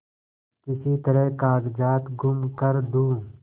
किसी तरह कागजात गुम कर दूँ